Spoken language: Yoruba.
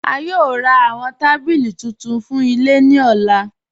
A yòò rá awọn tabílí tuntun fún ilẹ̀ ni ọ̀là.